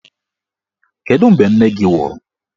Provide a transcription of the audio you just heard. Kedụ mgbe nne gị nwụrụ?